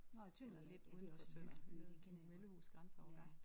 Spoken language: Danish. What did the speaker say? Nåh Tønder ja ja det er også en hyggelig by den kender jeg godt ja